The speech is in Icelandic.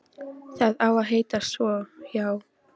Það á að heita svo, já.